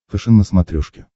фэшен на смотрешке